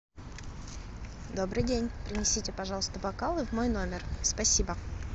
добрый день принесите пожалуйста бокалы в мой номер спасибо